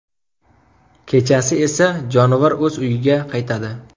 Kechasi esa jonivor o‘z uyiga qaytadi.